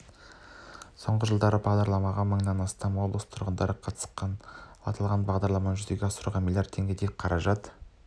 соңғы жылда бағдарламаға мыңнан астам облыс тұрғыны қатысқан ал аталған бағдарламаны жүзеге асыруға миллиард теңгедей қаражат